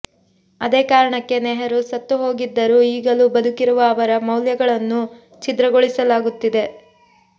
ಅದೇ ಕಾರಣಕ್ಕೆ ನೆಹರೂ ಸತ್ತು ಹೋಗಿದ್ದರೂ ಈಗಲೂ ಬದುಕಿರುವ ಅವರ ಮೌಲ್ಯಗಳನ್ನೂ ಛಿದ್ರಗೊಳಿಸಲಾಗುತ್ತಿದೆ